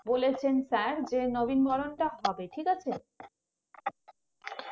বলেছেন Sir যে নবীনবরণটা হবে ঠিক আছে